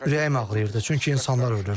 Ürəyim ağrıyırdı, çünki insanlar ölürdü.